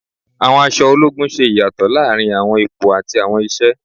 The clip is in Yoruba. Àwọn aṣọ ológun ṣe ìyàtọ̀ láàrin àwọn ipò àti àwọn iṣẹ,